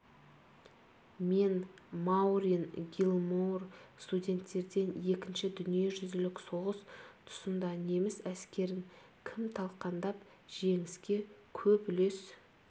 мен маурин гилмоур студенттерден екінші дүниежүзілік соғыс тұсында неміс әскерін кім талқандап жеңіске көп үлес